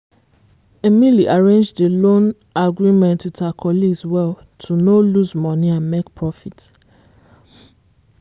emily arrange the loan agreement with her colleagues well to no lose money and make profit.